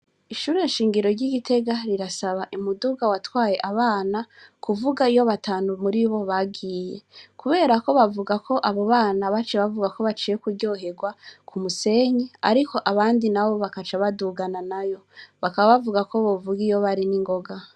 Ishure shingiro ryi Gitega rirasaba umuduga watwaye abana kuvuga iyo batanu muribo bagiye, kuberako bavugako abo bana baciye bavugako baciye kuryoherwa ku musenyi ariko abandi nabo bakaca badugana nayo bakaba bavugako bovuga iyo bari ningoga.